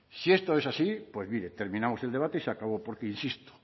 si esto es así pues mire terminamos el debate y se acabó porque insisto